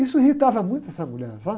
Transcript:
Isso irritava muito essa mulher, sabe?